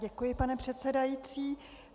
Děkuji, pane předsedající.